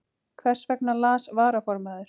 Hversvegna las varaformaður